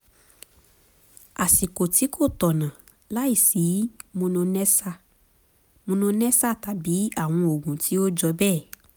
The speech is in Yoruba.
àsìkò tí kò tọ̀nà láìsí mononessa mononessa tàbí àwọn oògùn tí ó jọ bẹ́ẹ̀